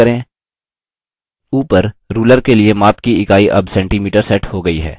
ऊपर ruler के लिए माप की इकाई अब centimeter set हो गई है